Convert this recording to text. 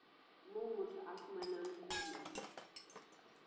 moo motho a fumanang kuno